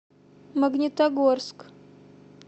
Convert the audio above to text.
магнитогорск